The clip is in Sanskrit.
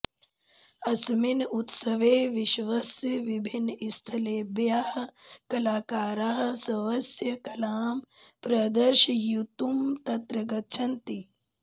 अस्मिन् उत्सवे विश्वस्य विभिन्नस्थलेभ्यः कलाकाराः स्वस्य कलां प्रदर्शयितुं तत्र गच्छन्ति